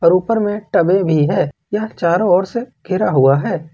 ऊपर में टबे भी है यह चारों ओर से घेरा हुआ है।